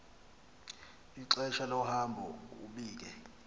ixesha lohambo ubike